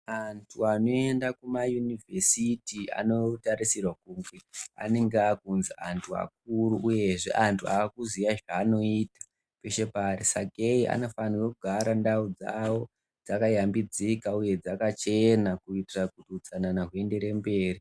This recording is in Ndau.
Antu anoenda kumayunivhesiti anotarisirwa kuti anenge akunzi antu akuru uyezve antu akuziya zvanoita peshe paari sakei anofanira kugara ndau dzawo dzakayambidzika uye dzakachena kuitira kuti utsanana huyendere mberi.